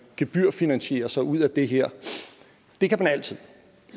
gebyrfinansiere sig ud af det her det kan man altid